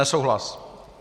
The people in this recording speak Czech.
Nesouhlas.